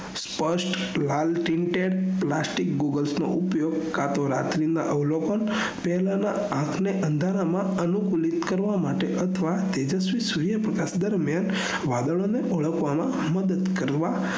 સ્પષ્ટ લાલટીનટેક લાસ્ટીક googles નો ઉપયોગ કટો રાત્રી ના અવલોકન તેમના આંખ ને અંઘારામાં અનુકૂલિત કરવા માટે અથવા તેજસ્વી સૂર્ય પ્રકાશ દરમિયાન વાદળો ઓળખવામાં મદદ કરવા